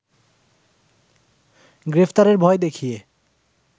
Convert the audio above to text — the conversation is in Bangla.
গ্রেপ্তারের ভয় দেখিয়ে